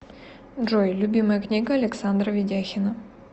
джой любимая книга александра ведяхина